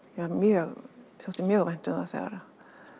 mér þótti mjög vænt um það þegar